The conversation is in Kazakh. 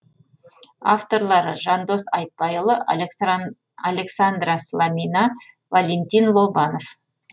авторлары жандос айтбайұлы александра салмина валентин лобанов